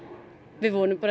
við vonum bara